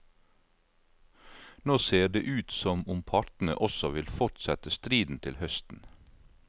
Nå ser det ut som om partene også vil fortsette striden til høsten.